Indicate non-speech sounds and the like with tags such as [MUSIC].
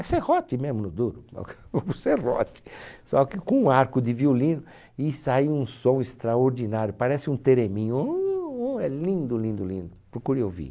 É serrote mesmo, [LAUGHS] do serrote, só que com um arco de violino e sai um som extraordinário, parece um tereminho, uuuuuuh é lindo, lindo, lindo, procure ouvir.